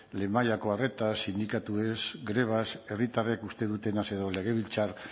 lehen mailako arreta sindikatuez grebaz herritarrek uste dutenaz edo legebiltzar